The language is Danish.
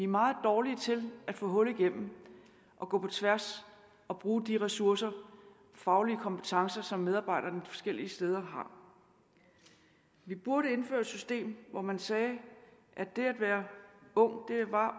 meget dårlige til at få hul igennem og gå på tværs og bruge de ressourcer faglige kompetencer som medarbejderne de forskellige steder har vi burde indføre et system hvor man sagde at det at være ung